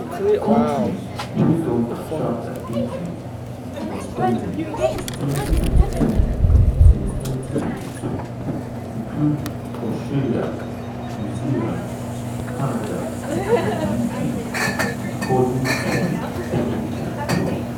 kontris wey don attract an increase in spending since 2022 since 2022 include australia new zealand canada and the uk according to prodpro.